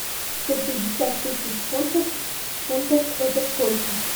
сто пятьдесят тысяч фунтов в фунтах это сколько